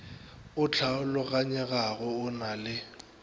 o hlaologanyegago go na le